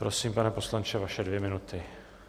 Prosím, pane poslanče, vaše dvě minuty.